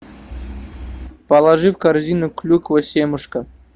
положи в корзину клюква семушка